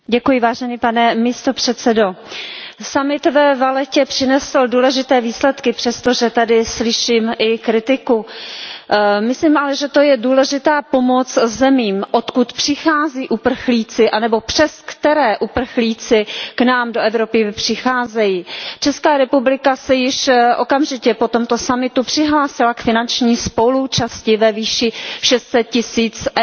Pane předsedající, summit ve Vallettě přinesl důležité výsledky přesto, že tady slyším i kritiku. Myslím ale, že to je důležitá pomoc zemím, odkud přicházejí uprchlíci anebo přes které uprchlíci k nám do Evropy přicházejí. Česká republika se již okamžitě po tomto summitu přihlásila k finanční spoluúčasti ve výši 600 tisíc EUR.